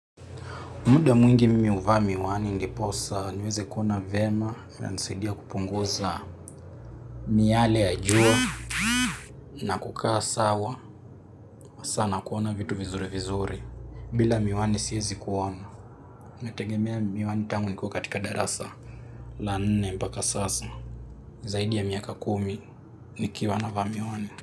Muda mwingi mimi huva miwani ndipo sasa niweze kuona vyema inanisaidia kupunguza miyale ya jua na kukaa sawa kuona vitu vizuri vizuri bila miwani siwezi kuona. Nategemea miwani tangu niko katika darasa la nne mpaka sasa. Zaidi ya miaka kumi nikiwa navaa miwani.